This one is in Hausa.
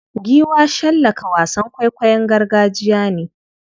Giwa shallaka wasan kwaikwayon gargajiya ne.